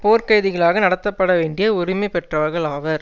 போர்க்கைதிகளாக நடத்தப்படவேண்டிய உரிமை பெற்றவர்கள் ஆவர்